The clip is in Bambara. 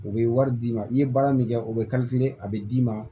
U bɛ wari d'i ma i ye baara min kɛ u bɛ a bɛ d'i ma